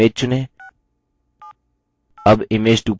अब image 2 पर click करें